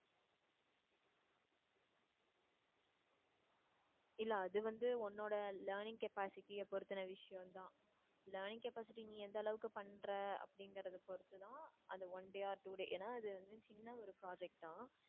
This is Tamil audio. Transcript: இல்ல அது வந்து உன்னோட learning capacity அ பொறுத்தன விஷயம் தான் learning capacity நீ எந்த அளவுக்கு பண்ற அப்டிங்கறதை பொறுத்து தான் அந்த one day or two day ஏன்னா அது வந்து சின்ன ஒரு project தான்